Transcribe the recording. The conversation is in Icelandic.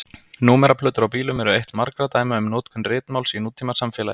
Númeraplötur á bílum eru eitt margra dæma um notkun ritmáls í nútímasamfélagi.